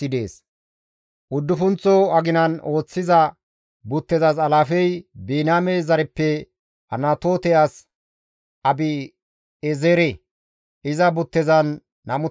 Uddufunththo aginan ooththiza buttezas alaafey Biniyaame zareppe Anatoote as Abi7eezere; iza buttezan 24,000 asi dees.